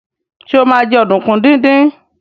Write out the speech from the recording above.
Sọ ma jẹ́ ọ̀dùnkún díndín?